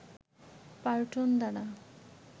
পার্টন দ্বারা